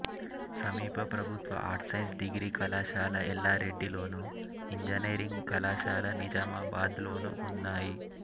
సమీప ప్రభుత్వ arts science degree కళాశాల ఎల్లారెడ్డిలోను ఇంజనీరింగ్ కళాశాల నిజామాబాద్లోనూ ఉన్నాయి